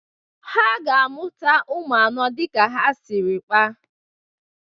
Ha ga-amụta ụmụ anọ dị ka ha siri kpaa.